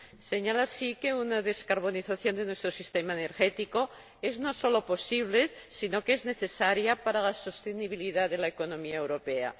Señala así que una descarbonización de nuestro sistema energético no solo es posible sino que es necesaria para la sostenibilidad de la economía europea.